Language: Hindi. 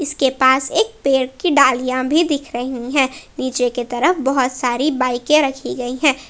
इसके पास एक पेड़ की डालियां भी दिख रही है नीचे की तरफ बहोत सारी बाइके रखी गई है।